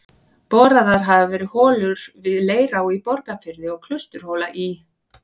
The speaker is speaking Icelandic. Boraðar hafa verið holur við Leirá í Borgarfirði og Klausturhóla í